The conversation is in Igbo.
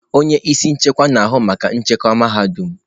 Onye isi nchekwa na-ahụ maka nchekwa mahadum.